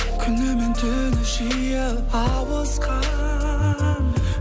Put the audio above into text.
күні мен түні жиі ауысқан